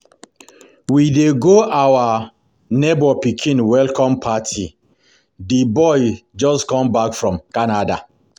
We dey go our neighbor pikin welcome party. The boy just come back from Canada